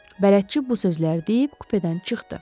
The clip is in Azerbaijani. Bələdçi bu sözləri deyib kupedən çıxdı.